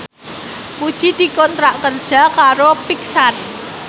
Puji dikontrak kerja karo Pixar